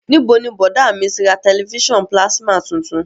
Níbo ni bọ̀dá à mi ti ra tẹ̀lifísàn pílásímà tuntun?